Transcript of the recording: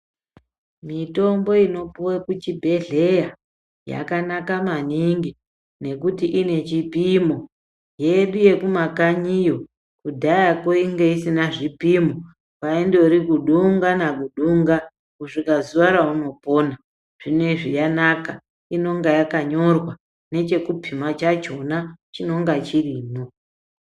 Mitombo inopuwa kuchibhedhleya yakanaka maningi ng ekuti ine chipimo. Yedu yekumakanyiyo kudhayako yanga isina chipimo kwaindova kudunga nakudunga kusvika zuva raunopona. Zvinezvi yanaka inonga yakanyorwa nochokupima chachona chinonga chirimwo.